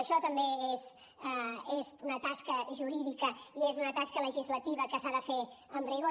això també és una tasca jurídica i és una tasca legislativa que s’ha de fer amb rigor